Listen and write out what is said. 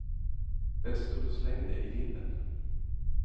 Det stod och slängde i vinden.